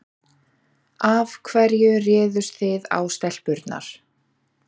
Af hverju réðust þið á stelpurnar